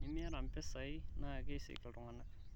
enimiyata mpisai naa keisik iltunganak